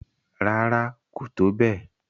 Rárá, kò tó bẹ́ẹ̀